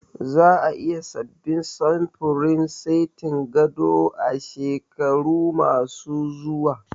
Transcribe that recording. Za a yi sabbin samfurin setin gado a shekaru ma su zuwa